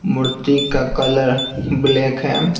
मूर्ति का colour black है।